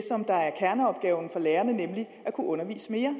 kerneopgaven for lærerne nemlig at kunne undervise mere